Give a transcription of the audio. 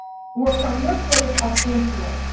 Work from your place of influence.